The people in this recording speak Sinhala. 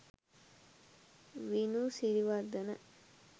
vinu siriwardana